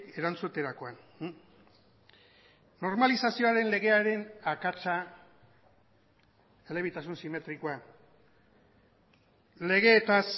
erantzuterakoan normalizazioaren legearen akatsa elebitasun simetrikoa legeetaz